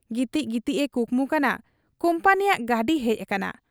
ᱜᱤᱛᱤᱡ ᱜᱤᱛᱤᱡ ᱮ ᱠᱩᱠᱢᱩ ᱠᱟᱱᱟ ᱠᱩᱢᱯᱟᱹᱱᱤᱭᱟᱜ ᱜᱟᱹᱰᱤ ᱦᱮᱡ ᱟᱠᱟᱱᱟ ᱾